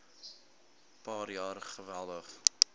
paar jaar geweldig